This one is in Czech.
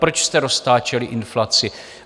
Proč jste roztáčeli inflaci?